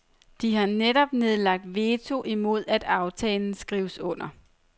De har netop nedlagt veto imod at aftalen skrives under.